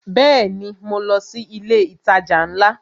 Bẹẹni, mo lọ sí ilé itaja ńlá?